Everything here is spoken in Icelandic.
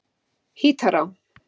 Hítará